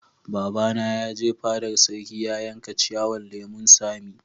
Baba na ya je fadar sarki ya yanka ciyawan lemun sami.